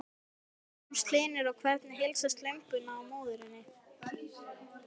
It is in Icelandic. Magnús Hlynur: Og hvernig heilsast lömbunum og móðurinni?